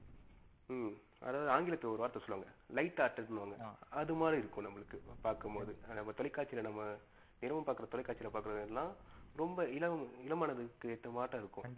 ஹம் அதாவது அன்கிலதுல ஒரு வார்த்தை சொளுவாங்கள light ன்னு ஒன்னு. அது மாறி இருக்கும் நம்பளுக்கு பாக்கும் போது தொலைகாட்சில நம்ப தினமும் பார்க்கும் தொலைகாட்சில பாகுரதுலம் ரொம்ப இள மனதுக்கு ஏற்ற மாட்டம் இருக்கும் கண்டிப்பா